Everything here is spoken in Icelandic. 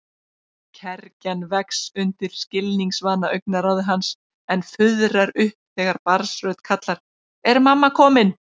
Kergjan vex undir skilningsvana augnaráði hans en fuðrar upp þegar barnsrödd kallar: Er mamma komin?